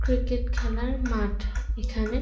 cricket খেলার মাঠ এখানে --